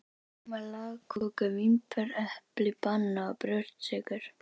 Keypti rjóma, lagköku, vínber, epli, banana og brjóstsykur.